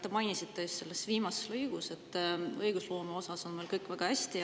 Te mainisite just selles viimases lõigus, et õigusloome osas on meil kõik väga hästi.